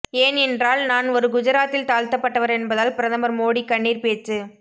ஏன் என்றால் நான் ஒரு குஜராத்தில் தாழ்த்தபட்டவர் என்பதால் பிரதமர் மோடி கண்ணீர் பேச்சு